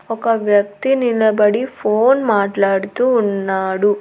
ఒక వ్యక్తి నిలబడి ఫోన్ మాట్లాడుతూ ఉన్నాడు.